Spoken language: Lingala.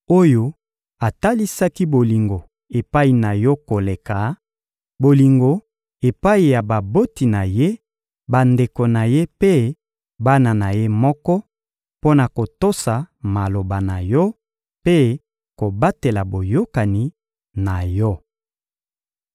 oyo atalisaki bolingo epai na Yo koleka, bolingo epai ya baboti na ye, bandeko na ye mpe bana na ye moko, mpo na kotosa maloba na Yo mpe kobatela boyokani na Yo.